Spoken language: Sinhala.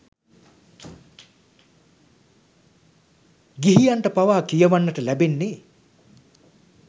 ගිහියන්ට පවා කියවන්නට ලැබෙන්නේ